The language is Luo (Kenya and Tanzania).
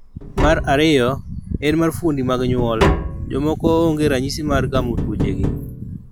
Mar ariyo, en mar fuondni mag nyuol. Jomoko onge ranyisi mar gamo tuochegi